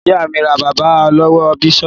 Ìyá mi rà kaba lọ́wọ́ Biola